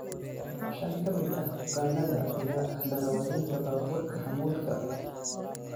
Shan ka mid ah bukaannada ayaa ahaa darewaalinta baabuurta xamuulka.